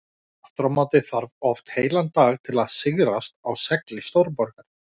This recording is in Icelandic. Aftur á móti þarf oft heilan dag til að sigrast á segli stórborgar.